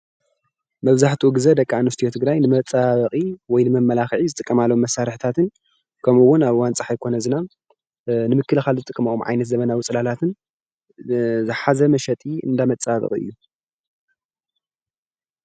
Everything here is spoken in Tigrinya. መብዛሕትኡ ግዜ ደቂ ኣንስትዮ ትግራይ ንመፀባበቂ ወይ ነመመላኽዒ ዝጥቀማሉ እዩ።